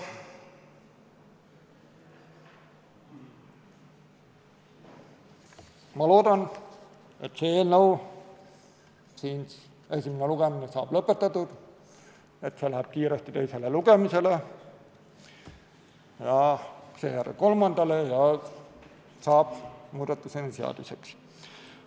Ma loodan, et selle eelnõu esimene lugemine saab lõpetatud, et see eelnõu läheb kiiresti teisele lugemisele, seejärel kolmandale ja saab seaduseks.